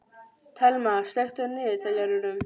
Thelma, slökktu á niðurteljaranum.